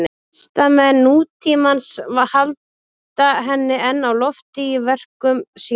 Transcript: Listamenn nútímans halda henni enn á lofti í verkum sínum.